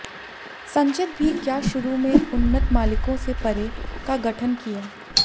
संचित भी क्या शुरू में उन्नत मालिकों से परे का गठन किया